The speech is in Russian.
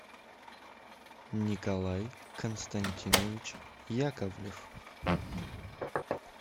николай константинович яковлев